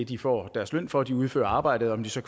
de får deres løn for de udfører arbejdet og om de så